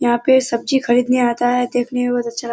यहाँ पे सब्‍जी खरीदने आता है देखने में बहोत अच्‍छा --